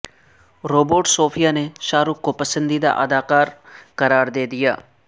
robot Sophia نے شاہ رخ کو پسندیدہ اداکار قرار دےدیا